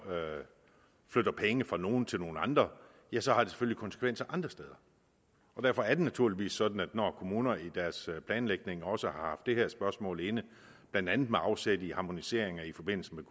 flytter penge fra nogle til nogle andre ja så har det selvfølgelig konsekvenser andre steder derfor er det naturligvis sådan at når kommunerne i deres planlægning også har haft det her spørgsmål inde blandt andet med afsæt i harmoniseringer i forbindelse